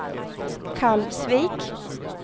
Kalvsvik